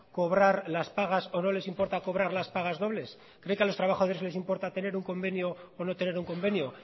cobrar las pagas o no les importa cobrar las pagas dobles cree que a los trabajadores les importa tener un convenio o no tener un convenio